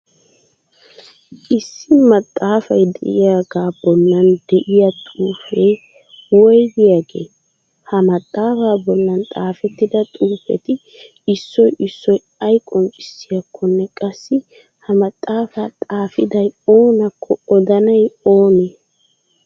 Issi maxaafay de'iyagaa bollan de'iya xuufee wougiyagee? Ha maxaafaa bollan xaafettida xuufeti issoy issoy ay qonccissiyakkonne qassi ha maxaafaa xaafiday oonakko odanay oonee?